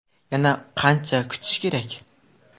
Yana qancha kutish kerak?